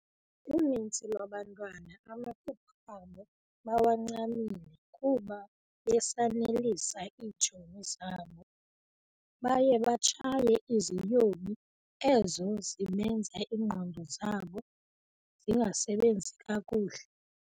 Uninzi lwabantwana amaphupha abo bawancamile kuba besanelisa iitshomi zabo ,baye batshaye iziyobi ezo zibenza ingqondo zabo zingasebenzi kakuhle .